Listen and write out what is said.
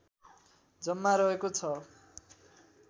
जम्मा रहेको छ